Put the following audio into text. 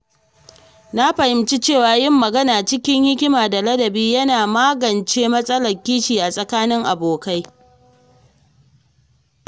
Na fahimci cewa yin magana cikin hikima da ladabi yana magance matsalar kishi a tsakanin abokai.